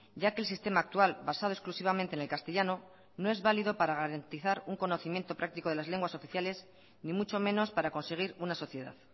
ya que el sistema actual basado exclusivamente en el castellano no es válido para garantizar un conocimiento práctico de las lenguas oficiales ni mucho menos para conseguir una sociedad